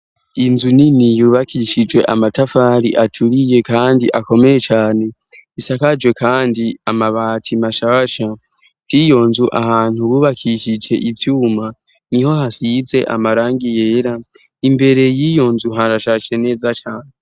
inzu nini yubakishije amatafari aturiye kandi akomeye cane isakaje kandi amabati mashasha byiyonzu ahantu bubakishije ivyuma niho hasize amarangi yera imbere y'iyonzu harashase neza cyane